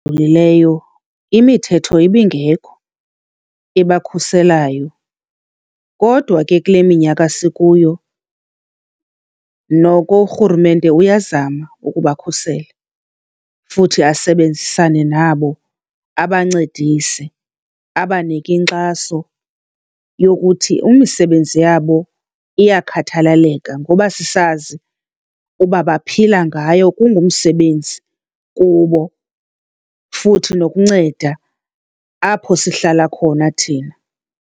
imithetho ibingekho ebakhuselayo. Kodwa ke kule minyaka sikuyo noko urhulumente uyazama ukubakhusela futhi asebenzisane nabo abancedise, abanike inkxaso yokuthi imisebenzi yabo iyakhathaleleka ngoba sisazi uba baphila ngayo, kungumsebenzi kubo futhi nokunceda apho sihlala khona thina.